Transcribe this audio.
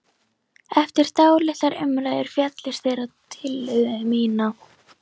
Eftir dálitlar umræður féllust þeir á tillögu mína.